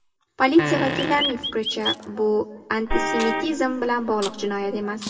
Politsiya vakillarining fikricha , bu antisemitizm bilan bog‘liq jinoyat emas.